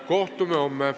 Kohtume homme.